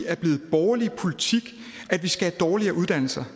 er blevet borgerlig politik at vi skal have dårligere uddannelser